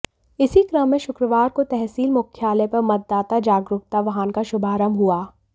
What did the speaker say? इसी क्रम में शुक्रवार को तहसील मुख्यालय पर मतदाता जागरूकता वाहन का शुभारंभ हुआ